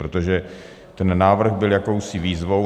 Protože ten návrh byl jakousi výzvou.